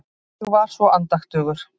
Ég var svo andaktugur.